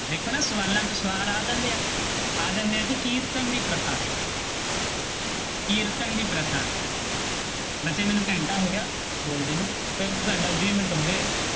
ਵੇਖੋ ਨਾ ਸਵਾਲਾਂ ਚੋਂ ਸਵਾਲ ਆ ਜਾਂਦੇ ਹੈ, ਆ ਜਾਂਦੇ ਹੈ ਜੀ ਕੀਰਤਨ ਦੀ ਪ੍ਰਥਾ ਕੀਰਤਨ ਦੀ ਪ੍ਰਥਾ ਬੱਚੇ ਮੈਨੂੰ ਘੰਟਾ ਹੋ ਗਿਆ ਬੋਲਦੇ ਨੂੰ, ਇੱਕ ਘੰਟਾ ਵੀਹ ਮਿੰਟ ਹੋ ਗਏ।